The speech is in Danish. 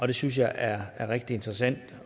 det synes jeg er rigtig interessant